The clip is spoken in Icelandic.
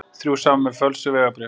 Þrjú saman með fölsuð vegabréf